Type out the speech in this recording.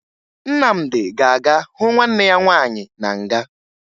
Nnamdị ga-aga hụ nwanne ya nwaanyị na nga